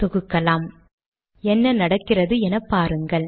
தொகுக்கலாம் என்ன நடக்கிறது எனப்பாருங்கள்